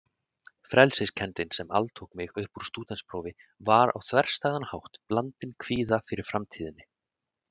Frelsiskenndin sem altók mig uppúr stúdentsprófi var á þverstæðan hátt blandin kvíða fyrir framtíðinni.